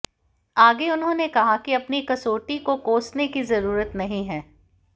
आगे उन्होंने कहा कि अपनी कसौटी को कोसने की जरुरत नहीं है